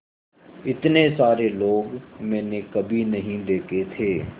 इतने सारे लोग मैंने कभी नहीं देखे थे